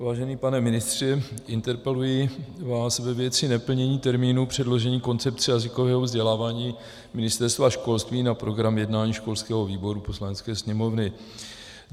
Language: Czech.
Vážený pane ministře, interpeluji vás ve věci neplnění termínu předložení koncepce jazykového vzdělávání Ministerstva školství na program jednání školského výboru Poslanecké sněmovny.